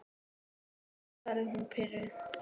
Já, svaraði hún pirruð.